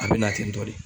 A bɛ na ten tɔ de